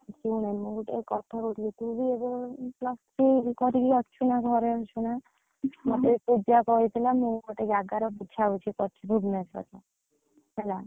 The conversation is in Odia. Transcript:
ଶୁଣେ ମୁଁ ଗୋଟେ କଥା କହୁଥିଲି ତୁ ବି ଏବେ plus three କରିକି ଅଛୁ ନା ଘରେ ଅଛୁ ନା ମତେ ପୂଜା କହୁଥିଲା, ମୁଁ ଗୋଟେ ଜାଗାରେ ବୁଝା ବୁଝି କରିଛି ଭୁବନେଶ୍ୱରରେ, ହେଲା।